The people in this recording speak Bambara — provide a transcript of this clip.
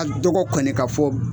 A dɔgɔ kɔni k'a fɔ